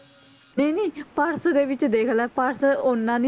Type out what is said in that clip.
ਨਹੀਂ ਨਹੀਂ ਪਰਸ ਦੇ ਵਿੱਚ ਦੇਖ ਲੈ ਪਰਸ ਓਨਾ ਨੀ,